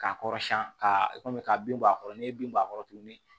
K'a kɔrɔ siɲɛn ka kɔmi ka bin bɔ a kɔrɔ ni ye bin bɔ a kɔrɔ tuguni